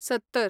सत्तर